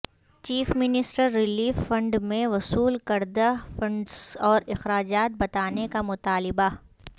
chief minister relief فنڈمیں وصول کردہ فنڈس اور اخراجات بتانے کا مطالبہ